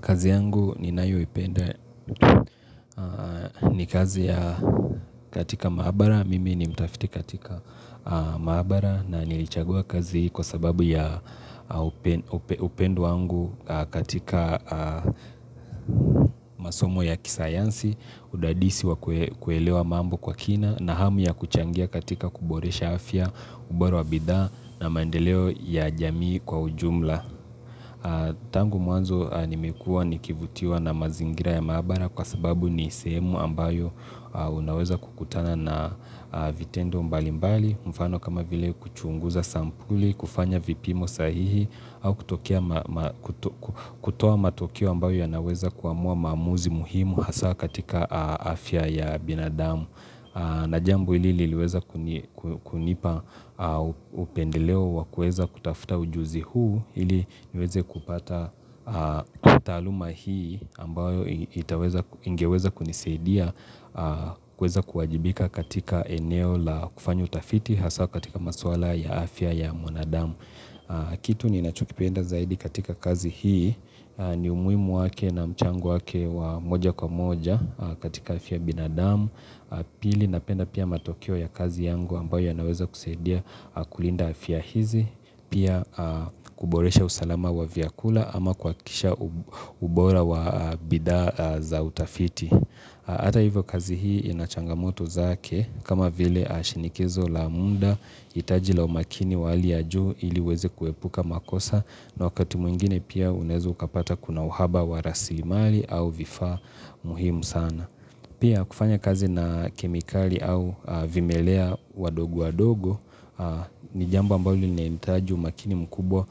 Kazi yangu ninayoipenda ni kazi ya katika maabara. Mimi ni mtafiti katika maabara na nilichagua kazi hii kwa sababu ya upendo wangu. Katika masomo ya kisayansi, udadisi wa kuelewa mambo kwa kina na hamu ya kuchangia katika kuboresha afya, ubora wa bidhaa na maendeleo ya jamii kwa ujumla. Tangu mwanzo, nimekuwa nikivutiwa na mazingira ya maabara kwa sababu ni sehemu ambayo unaweza kukutana na vitendo mbalimbali, mfano kama vile kuchunguza sampuli na kufanya vipimo sahihi. Kutoa matokeo ambayo yanaweza kuamua maamuzi muhimu hasa katika afya ya binadamu. Na jambo hili ili liweze kunipa upendeleo wa kuweza kutafuta ujuzi huu ili niweze kupata. Taaluma hii ambayo ingeweza kunisaidia kuweza kuwajibika katika eneo la kufanya utafiti, hasa katika masuala ya afya ya mwanadamu. Kitu ninachokipenda zaidi katika kazi hii ni umuhimu wake na mchango wake wa moja kwa moja katika afya ya binadamu. Pili, napenda pia matokeo ya kazi yangu ambayo yanaweza kusaidia kulinda afya hizi, pia kuboresha usalama wa vyakula ama kuhakikisha ubora wa bidhaa za utafiti. Hata hivyo, kazi hii ina changamoto zake kama vile shinikizo la muda, hitaji la umakini wa hali ya juu ili uweze kuepuka makosa, na wakati mwingine unaweza kupata kuna uhaba wa rasilimali au vifaa. Muhimu sana pia kufanya kazi na kemikali au vimelea wadogo wadogo. Ni jambo ambalo linahitaji umakini mkubwa.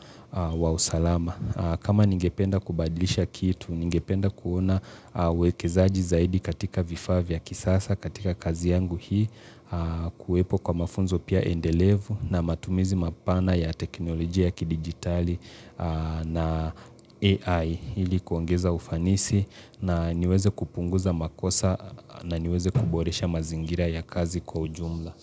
Wa usalama, kama ningependa kubadilisha kitu, ningependa kuona uwekezaji zaidi katika vifaa vya kisasa katika kazi yangu hii. Kuwepo kwa mafunzo pia endelevu na matumizi mapana ya teknolojia ya kidigitali na AI ili kuongeza ufanisi na niweze kupunguza makosa na niweze kuboresha mazingira ya kazi kwa ujumla.